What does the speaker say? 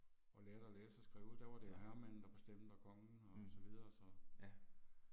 Og lærte og læse og skrive der var det jo herremanden der bestemte og kongen og så videre så